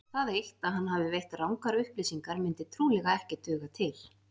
Það eitt að hann hafi veitt rangar upplýsingar myndi trúlega ekki duga til.